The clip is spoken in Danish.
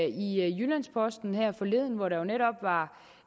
i jyllands posten her forleden hvor der netop var